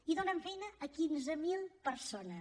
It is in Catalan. i donen feina a quinze mil persones